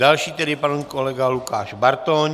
Další tedy pan kolega Lukáš Bartoň.